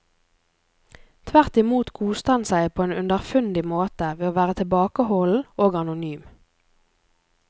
Tvert imot koste han seg på en underfundig måte ved å være tilbakeholden og anonym.